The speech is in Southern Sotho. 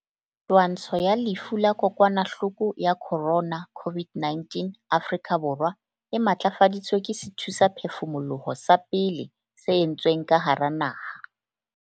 Twantsho ya lefu la kokwanahloko ya corona, COVID-19, Afrika Borwa e matlafaditswe ke sethusaphefumoloho sa pele se entsweng ka hara naha.